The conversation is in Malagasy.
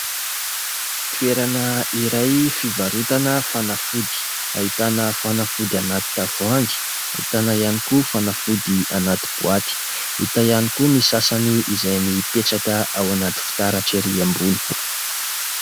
Toerana iray fivarotana fanafody ; ahitana fanafody anaty tavohangy, ahitana ihany koa fanafody anaty boaty, hita ihany koa ny sasany izay mipetraka ao anaty fitaratra ery ambony.